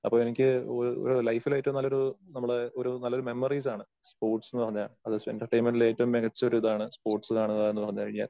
അപ്പോ എനിക്ക് ആ ആ ലൈഫില് ഏറ്റവും നല്ലൊരു നമ്മടെ ഒരു നല്ലൊരു മെമ്മറീസ് ആണ് സ്പോർട്സ് ന്ന് പറഞ്ഞാ. അത് എന്റർടൈൻമെന്റിലെ ഏറ്റവും മികച്ച ഒരു ഇതാണ് സ്പോർട്സ് കാണുക എന്ന് പറഞ്ഞുകഴിഞ്ഞാ.